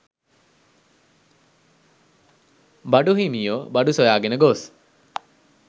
බඩු හිමියෝ බඩු සොයාගෙන ගොස්